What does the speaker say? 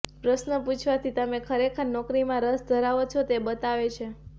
પ્રશ્નો પૂછવાથી તમે ખરેખર નોકરીમાં રસ ધરાવો છો તે બતાવે છે